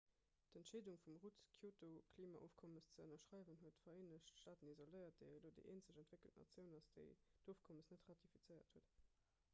d'entscheedung vum rudd d'kyoto-klimaofkommes ze ënnerschreiwen huet d'vereenegt staaten isoléiert déi elo déi eenzeg entwéckelt natioun ass déi d'ofkommes net ratifizéiert huet